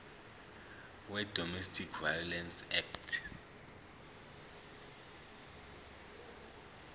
wedomestic violence act